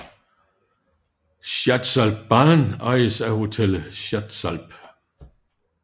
Schatzalp Bahn ejes af Hotel Schatzalp